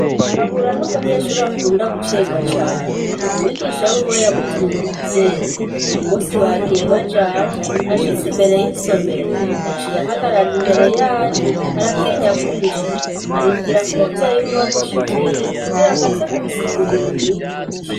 KABURA numunyeshuri akunda gucegwa cane umwigisha wiwe yamutumye umuvyeyi uyu munsi bagiye bajanye ashitse imbere yisomero yaciye ahagarara imbere yaryo aratinya kwinjira arindira ko umuvyeyi wiwe amushikira kugirango aze kubisigurira umwigisha.